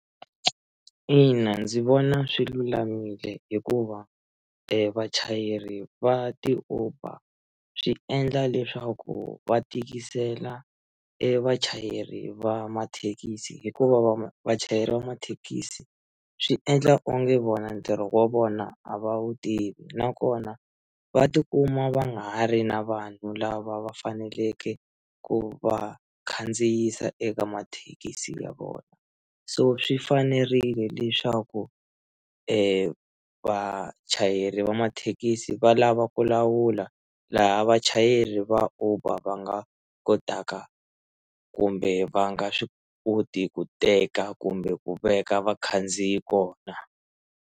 Ina ndzi vona swi lulamile hikuva vachayeri va ti-Uber swi endla leswaku va tikisela e vachayeri va mathekisi hikuva va vachayeri va mathekisi swi endla onge vona ntirho wa vona a va wu tivi nakona va tikuma va nga ha ri na vanhu lava va faneleke ku va khandziyisa eka mathekisi ya vona so swi fanerile leswaku vachayeri va mathekisi va lava ku lawula laha vachayeri va uber va nga kotaka kumbe va nga swi koti ku teka kumbe ku veka vakhandziyi kona.